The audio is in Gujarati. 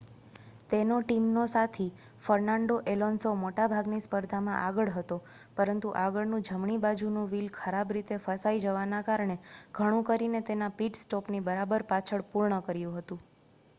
તેનો ટીમનો સાથી ફર્નાન્ડો અલોન્સો મોટા ભાગની સ્પર્ધામાં આગળ હતો પરંતુ આગળનું જમણી બાજુનું વ્હીલ ખરાબ રીતે ફસાઈ જવાના કારણે ઘણું કરીને તેના પીટ સ્ટોપ ની બરાબર પાછળ પૂર્ણ કર્યું હતું